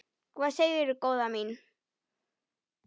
Hvað segirðu góða mín?